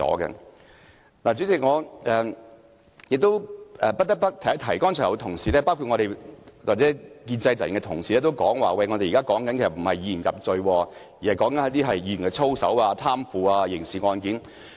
代理主席，不得不提的是，剛才有同事，包括建制派的同事表示，我們不是要以言入罪，而是討論有關議員操守或貪腐的刑事案件。